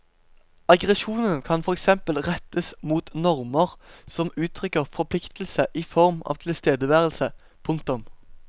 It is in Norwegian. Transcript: Aggresjonen kan for eksempel rettes mot normer som uttrykker forpliktelse i form av tilstedeværelse. punktum